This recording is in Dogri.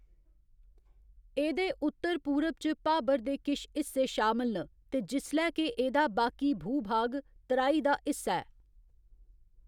एह्‌‌‌दे उत्तर पूरब च भाबर दे किश हिस्से शामल न ते जिसलै के एह्‌‌‌दा बाकी भूभाग तराई दा हिस्सा ऐ।